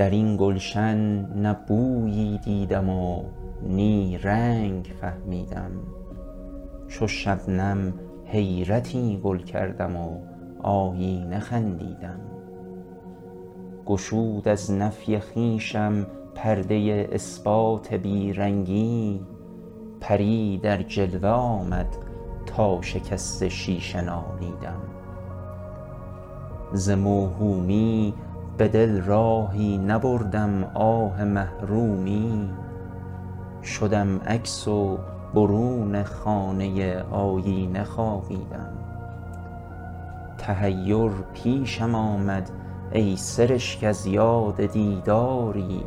درین گلشن نه بویی دیدم و نی رنگ فهمیدم چو شبنم حیرتی گل کردم و آیینه خندیدم گشود از نفی خویشم پرده اثبات بی رنگی پری در جلوه آمد تا شکست شیشه نالیدم ز موهومی به دل راهی نبردم آه محرومی شدم عکس و برون خانه آیینه خوابیدم تحیر پیشم آمد ای سرشک از یاد دیداری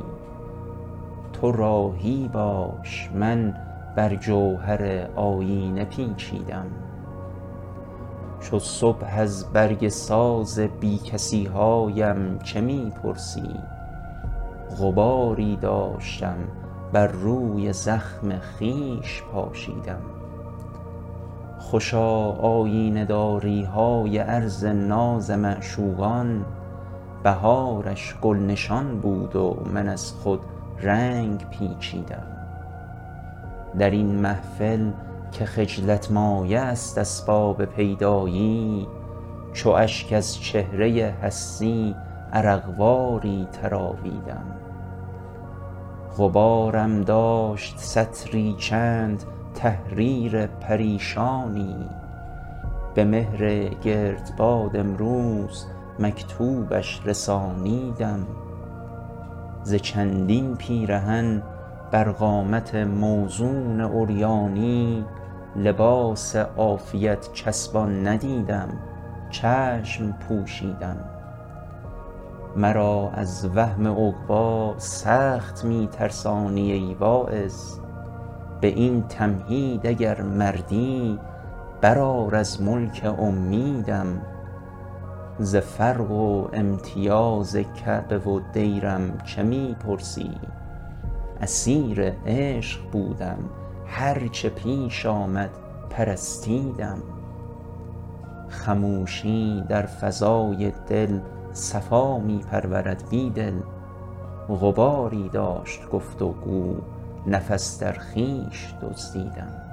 تو راهی باش من بر جوهر آیینه پیچیدم چو صبح از برگ ساز بی کسی هایم چه می پرسی غباری داشتم بر روی زخم خویش پاشیدم خوشا آیینه داری های عرض ناز معشوقان بهارش گل نشان بود و من از خود رنگ پیچیدم درین محفل که خجلت مایه است اسباب پیدایی چو اشک از چهره هستی عرق واری تراویدم غبارم داشت سطری چند تحریر پریشانی به مهر گردباد امروز مکتوبش رسانیدم ز چندین پیرهن بر قامت موزون عریانی لباس عافیت چسبان ندیدم چشم پوشیدم مرا از وهم عقبا سخت می ترسانی ای واعظ به این تمهید اگر مردی برآر از ملک امیدم ز فرق و امتیاز کعبه و دیرم چه می پرسی اسیر عشق بودم هر چه پیش آمد پرستیدم خموشی در فضای دل صفا می پرورد بیدل غباری داشت گفت وگو نفس در خویش دزدیدم